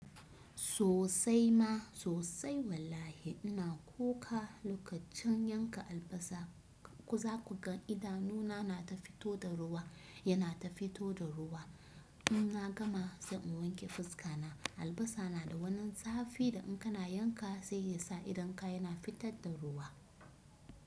Sosai ma sosai wallahi ina kuka lokacin yanka albasa ku za ku ga ida nuna na ta fito da ruwa yana ta fito da ruwa. In na gama sai in wanke fuska na, albasa na da wannan zafi da in kana yanka sai yasa idon ka yana fitar da ruwa.